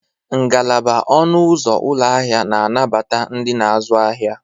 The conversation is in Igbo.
Ngalaba ọnụ ụzọ ụlọ ahịa na-anabata ndị na-azụ ahịa.